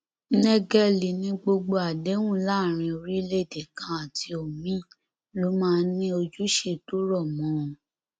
nẹgẹlì ní gbogbo àdéhùn láàrin orílẹèdè kan àti omiín ló máa ń ní ojúṣe tó rọ mọ ọn